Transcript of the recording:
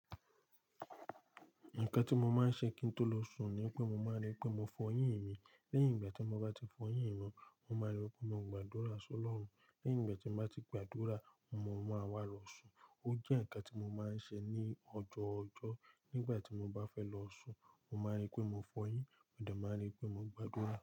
Nǹkan tí mo má ń ṣe kí n tó lọ sùn ni pé mo máa ń rí pé mo f'ọyín mi. Lẹ́yìn ìgbà tí mo bá ti f'ọyín mi, mo máa rí pé mo gbàdúrà sí Ọlọ́run. Lẹ́yìn ìgbà tí n bá ti gbàdúrà, mo máa wá lọ sùn. Ó jẹ́ ǹkan tí mo ma ń ṣe ní ọjọ́ ọjọ́ nígbà tí mo bá fẹ́ lọ sùn. Mo ma ń rí pé mo f'ọyín, mo dẹ̀ ma ń rí pé mo gbàdúrà.